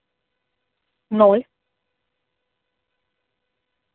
ноль